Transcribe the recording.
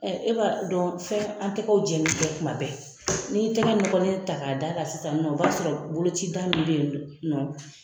E b'a dɔn fɛn an tɛgɛw jɛni tɛ kuma bɛɛ, n'i y'i tigɛ nɔgɔlen ta k'a da kan sisan nin nɔn, o b'a sɔrɔ boloci ta nɔn